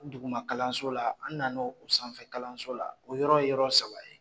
Duguma kalanso la an nana o sanfɛ kalanso la o yɔrɔ ye yɔrɔ saba ye.